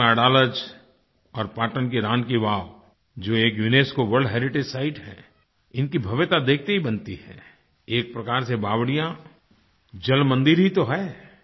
गुजरात में अडालज और पाटन की रानी की वावबावड़ी जो एक यूनेस्को वर्ल्ड हेरिटेज सिते है इनकी भव्यता देखते ही बनती है एक प्रकार से बावड़ियाँ जल मंदिर ही तो हैं